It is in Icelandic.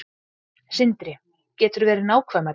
Sindri: Geturðu verið nákvæmari?